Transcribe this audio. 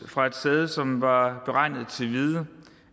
fra et sæde som var beregnet til hvide